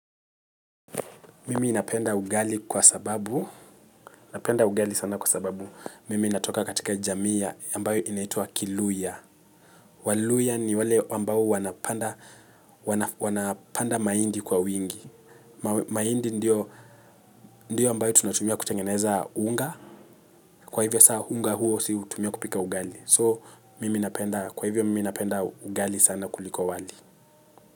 Mimi napenda ugali kwa sababu, napenda ugali sana kwasababu mimi natoka katika jamii ya ambayo inaitwa kiluya. Waluya ni wale ambayo wanapanda mahindi kwa wingi. Mahindi ndiyo ambayo tunatumia kutengeneza unga. Kwa hivyo sa unga huo si hutumia kupika ugali. So, mimi napenda kwa hivyo mimi napenda ugali sana kuliko wali.